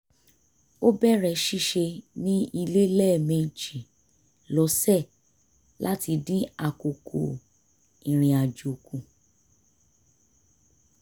ó bẹ̀rẹ̀ ṣíṣe ní ilé lẹ́mẹjì lọ́sẹ̀ láti dín àkókò irinàjò kù